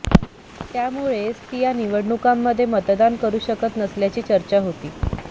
त्यामुळेच ती या निवडणुकांमध्ये मतदान करु शकत नसल्याची चर्चा होती